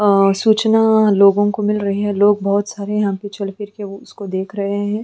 अ सूचना लोगों को मिल रही हैं। लोग बोहोत सारे यहां पे चल फिर के वो उसको देख रहे हैं।